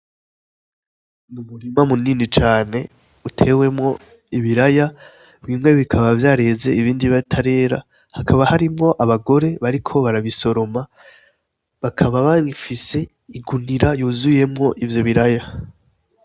Umurima munini cane utewemwo ibiraya, bimwe bikaba vyareze ibindi bitarera, hakaba harimwo abagore bariko barabisoroma, bakaba bafise igunira yuzuyemwo ivyo biraya.